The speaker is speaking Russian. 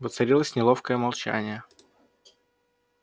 воцарилось неловкое молчание